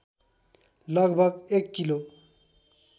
लगभग एक किलो